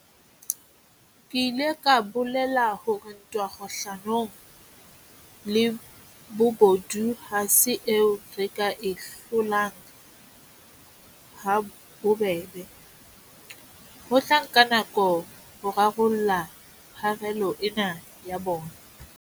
Ke ile ka bolela hore ntwa kgahlano le bobodu ha se eo re ka e hlolang ha bobebe, ho tla nka nako ho rarolla pharela ena ya bona.